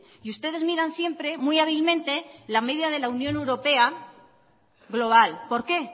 y ustedes miran siempre muy hábilmente la media de la unión europea global por qué